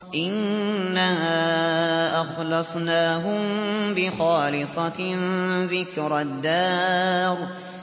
إِنَّا أَخْلَصْنَاهُم بِخَالِصَةٍ ذِكْرَى الدَّارِ